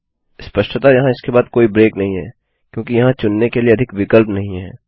स्पष्टतः वहाँ इसके बाद कोई ब्रेक नहीं है क्योंकि वहाँ चुनने के लिए अधिक विकल्प नहीं हैं